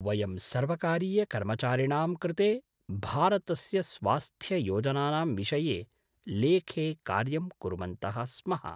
वयं सर्वकारीयकर्मचारिणां कृते भारतस्य स्वास्थ्ययोजनानां विषये लेखे कार्यं कुर्वन्तः स्मः।